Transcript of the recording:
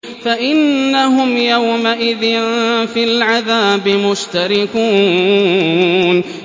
فَإِنَّهُمْ يَوْمَئِذٍ فِي الْعَذَابِ مُشْتَرِكُونَ